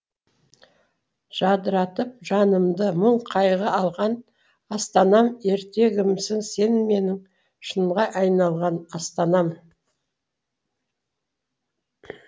жадыратып жанымды мұң қайғы алған астанам ертегімсің сен менің шынға айналған астанам